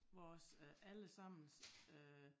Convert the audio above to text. Vores øh alle sammens øh